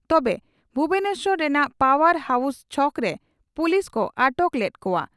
ᱛᱚᱵᱮ ᱵᱷᱩᱵᱚᱱᱮᱥᱚᱨ ᱨᱮᱱᱟᱜ power house ᱪᱷᱚᱠᱨᱮ ᱯᱳᱞᱤᱥ ᱠᱚ ᱟᱴᱚᱠ ᱞᱮᱫ ᱠᱚᱜᱼᱟ ᱾